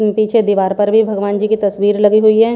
पीछे दीवार पर भी भगवान जी की तस्वीर लगी हुई है।